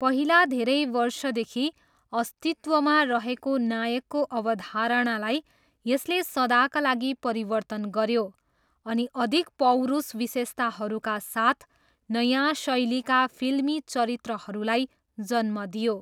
पहिला धेरै वर्षदेखि अस्तित्वमा रहेको नायकको अवधारणालाई यसले सदाका लागि परिवर्तन गऱ्यो अनि अधिक पौरुष विशेषताहरूका साथ नयाँ शैलीका फिल्मी चरित्रहरूलाई जन्म दियो।